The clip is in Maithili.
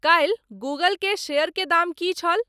काल्हि गूगल के शेयर के दाम की छल